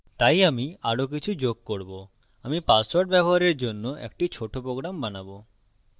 তাই আমি আরো কিছু যোগ করব আমি পাসওয়ার্ড ব্যবহারের জন্য একটি ছোট program বানাবো